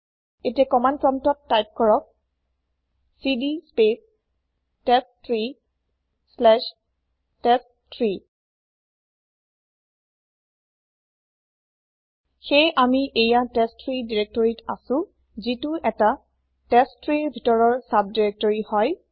এতিয়া কমান্দ প্ৰমপ্তত তাইপ কৰক CD space test tree slash test three সেয়ে আমি এইয়া টেষ্ট3 দিৰেক্তৰিত আছো যিটো ১টা testtreeৰ ভিতৰৰ চাব দিৰেক্তৰি হয়